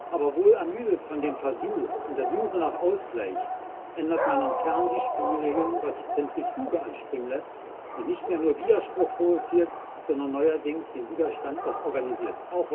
Aber wohl ermüdet von dem Versuch und der Suche nach Ausgleich ändert man intern die Spielregeln, was die Zentrifuge anspringen lässt und nicht mehr nur Widerspruch provoziert, sondern neuerdings den Widerstand auch organisiert.